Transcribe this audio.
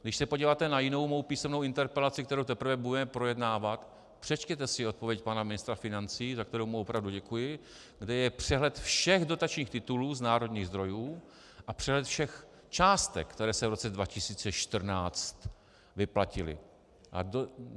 Když se podíváte na jinou mou písemnou interpelaci, kterou teprve budeme projednávat, přečtěte si odpověď pana ministra financí, za kterou mu opravdu děkuji, kde je přehled všech dotačních titulů z národních zdrojů a přehled všech částek, které se v roce 2014 vyplatily.